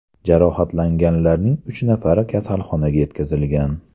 Jarohatlanganlarning uch nafari kasalxonaga yetkazilgan.